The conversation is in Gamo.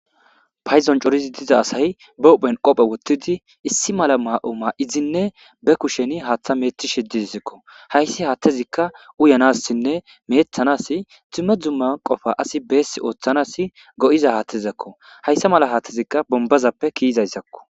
Payidon cooridi diza asay ba huphen qophe woxidi issi mala mayo mayidi be kushe hathaza oyikidinee mecetishe dizesko hayis hathazika uyanasinee mecetanas duma duma qopa asi besi othanas go'iza hathezako hayisa mela hathika bonibazape ke'izaysako